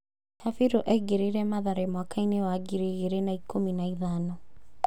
Kabiru aingĩrire Mathare mwakainĩ wa ngiri igĩrĩ na ikũmi na ithano.